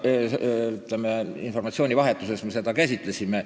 Ütleme, et informatsiooni vahetusena me seda käsitlesime.